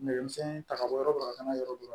Nɛgɛ misɛnnin ta ka bɔ yɔrɔ dɔ ka taa yɔrɔ dɔ